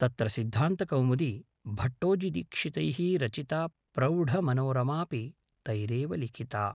तत्र सिद्धान्तकौमुदी भट्टोजिदीक्षितैः रचिता प्रौढमनोरमापि तैरेव लिखिता